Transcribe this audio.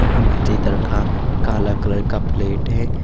यह हमारे इधर का काला कलर का प्लेट है।